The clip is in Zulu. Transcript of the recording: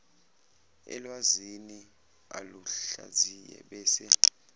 elwazini aluhlaziye bese